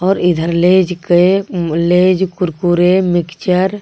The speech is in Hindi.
ओर इधर लेज के लेज कुरकुरे मिक्चर .